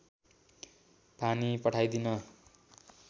पानी पठाइदिइन